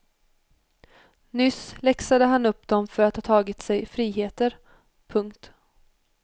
Nyss läxade han upp dem för att ha tagit sig friheter. punkt